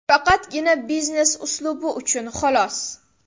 Faqatgina biznes uslubi uchun, xolos.